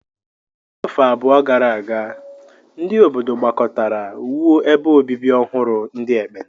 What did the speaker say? N'afọ abụọ gara aga, ndị obodo gbakọtara wuo ebe obibi ọhụrụ ndị ekpenta.